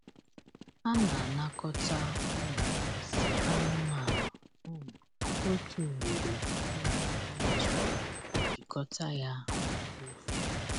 A na-anakọta um nsị anụmanụ um otu ugboro um n’izu ma jikọta ya na mkpofu.